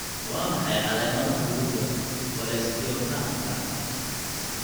Waa maxay calaamadaha lagu garto cholesteatomaka?